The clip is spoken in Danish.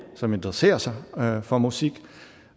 som interesserer sig for musik